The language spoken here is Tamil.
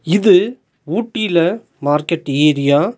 இது ஊட்டில மார்க்கெட் ஏரியா .